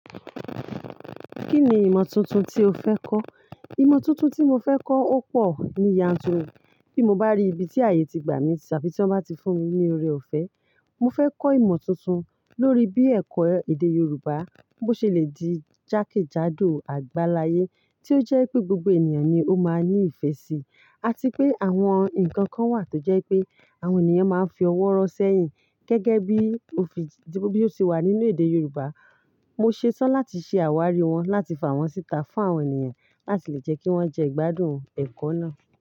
Kí ni ìmọ̀ tuntun tí o fẹ́ kọ́? Ìmọ̀ tuntun tí mo fẹ́ kọ́ ó pọ̀ ní yànturu, bí mo bá rí ibi tí ààyè ti gbà mí tàbí tí wọ́n bá ti fún mi ní oore-ọ̀fẹ́. Mo fẹ́ kọ́ ìmọ̀ tuntun lórí bí ẹ̀kọ́ èdè Yorùbá bó ṣe le di jákèjádò àgbáláyé tí ó jẹ́ pé gbogbo ènìyàn ni ó máa ní ìfẹ́ sí, àti pé àwọn nǹkan kan wà tó jẹ́ pé àwọn ènìyàn máa ń fi ọwọ́ ro sẹ́yìn gẹ́gẹ́ bí ó ti wà nínú èdè Yorùbá. Mo ṣetán láti ṣe àwárí wọn láti fà wọ́n síta fún àwọn ènìyàn láti lè jẹ́ kí wọ́n jẹ́ ìgbádùn ẹ̀kọ́ náà.